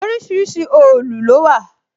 Orísìírísìí òòlù lówà